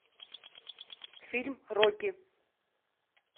фильм рокки